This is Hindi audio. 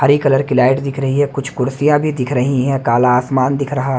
हरी कलर की लाइट दिख रही है कुछ कुर्सियां भी दिख रही है काला आसमान दिख रहा--